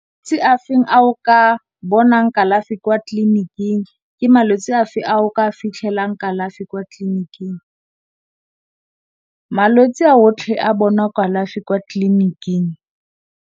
Ke malwetse afe a o ka bonang kalafi kwa tlliniking, ke malwetse afe a o ka fitlhelang kalafi kwa tlliniking? Malwetse a otlhe a bona kalafi kwa tlliniking.